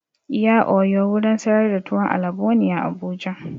Iya oyo wurin sayar da tuwon alabo ne a Abuja.